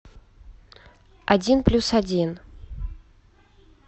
один плюс один